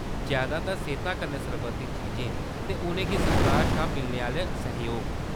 जैदातर सेह्ता कन्नै सरबंधत चीजें ते उʼनें गी सरकार शा मिलने आह्‌‌‌ले सैह्‌‌योग।